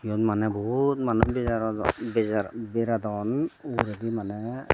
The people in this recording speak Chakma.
eyot mane bohut manuj beradon ugurendi mane.